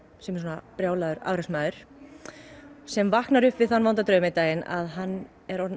sem er svona brjálaður afreksmaður sem vaknar upp við þann vonda draum einn daginn að hann er orðinn